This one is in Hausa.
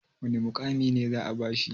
wane mukami za a bashi?